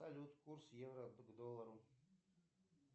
салют курс евро к доллару